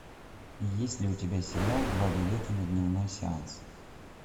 есть ли у тебя сериал два билета на дневной сеанс